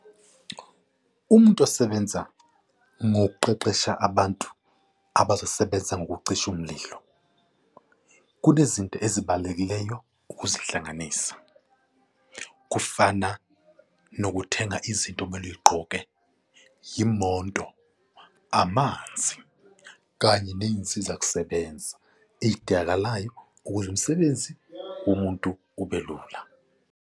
Umuntu osebenza ngokuqeqesha abantu abazosebenza ngokucisha umlilo, kunezinto ezibalulekileyo ukuzihlanganisa. Kufana nokuthenga izinto okumele uy'gqoke, yimonto, amanzi, kanye ney'nsiza kusebenza ey'dingakalayo ukuze umsebenzi womuntu ube lula.